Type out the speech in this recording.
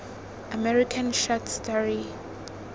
american short story